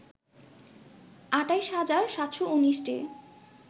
২৮ হাজার ৭১৯টি